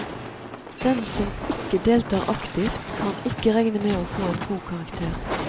Den som ikke deltar aktivt, kan ikke regne med å få en god karakter.